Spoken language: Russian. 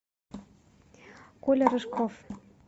коля рыжков